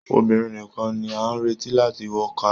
Obìnrin nìkàn ní a n retí láti wọ kaba.